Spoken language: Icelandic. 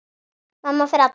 Mamma fer alla leið.